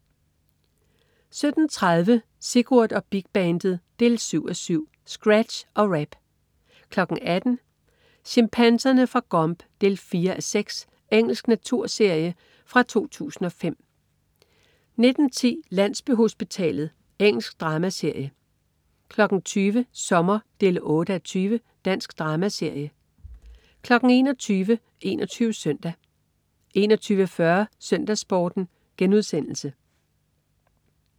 17.30 Sigurd og Big Bandet 7:7. Scratsch og rap! 18.00 Chimpanserne fra Gombe 4:6. Engelsk naturserie fra 2005 19.10 Landsbyhospitalet. Engelsk dramaserie 20.00 Sommer 8:20. Dansk dramaserie 21.00 21 Søndag 21.40 SøndagsSporten*